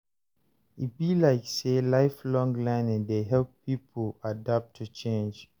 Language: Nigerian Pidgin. E be like sey lifelong learning dey help pipo adapt to change.